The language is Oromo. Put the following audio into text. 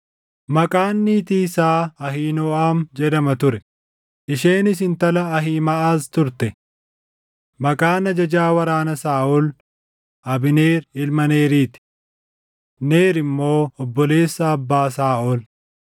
Maqaan niitii isaa Ahiinooʼam jedhama ture; isheenis intala Ahiimaʼaz turte. Maqaan ajajaa waraana Saaʼol Abneer ilma Neeriti; Neer immoo obboleessa abbaa Saaʼol.